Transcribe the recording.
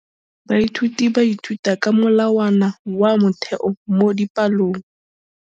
Baithuti ba ithuta ka molawana wa motheo mo dipalong.